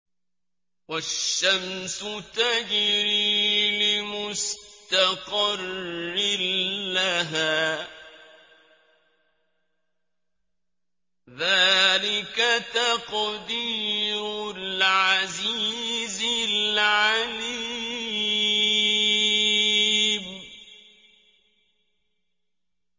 وَالشَّمْسُ تَجْرِي لِمُسْتَقَرٍّ لَّهَا ۚ ذَٰلِكَ تَقْدِيرُ الْعَزِيزِ الْعَلِيمِ